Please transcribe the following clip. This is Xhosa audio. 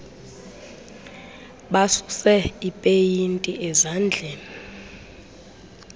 basuse ipeyinti ezandleni